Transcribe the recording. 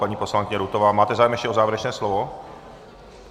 Paní poslankyně Rutová, máte zájem ještě o závěrečné slovo?